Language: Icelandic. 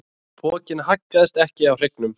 Pokinn haggaðist ekki á hryggnum.